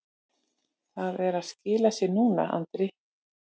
Það er að skila sér núna, sagði Andri.